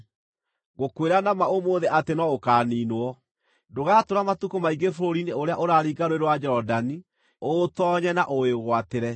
ngũkwĩra na ma ũmũthĩ atĩ no ũkaaniinwo. Ndũgatũũra matukũ maingĩ bũrũri-inĩ ũrĩa ũraringa Rũũĩ rwa Jorodani ũũtoonye na ũwĩgwatĩre.